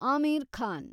Aamir Khan